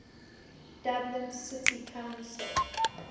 dublin city council